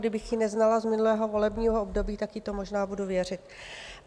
Kdybych ji neznala z minulého volebního období, tak jí to možná budu věřit.